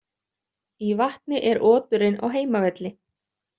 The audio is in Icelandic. Í vatni er oturinn á heimavelli.